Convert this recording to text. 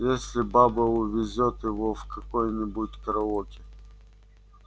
если баба увезёт его в какое-нибудь караоке